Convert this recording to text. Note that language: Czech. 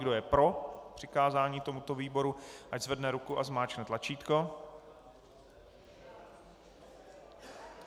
Kdo je pro přikázání tomuto výboru, ať zvedne ruku a zmáčkne tlačítko.